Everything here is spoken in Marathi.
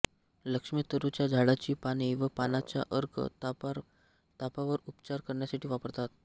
लक्ष्मीतरूच्या झाडाची पाने व पानाचा अर्क तापावर उपचार करण्यासाठी वापरतात